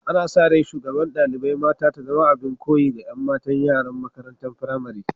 Ana sa rai shugaban dalibain mata ta zama abin koyi ga yan matan yara'n makarantan firamari.